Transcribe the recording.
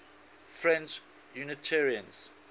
french unitarians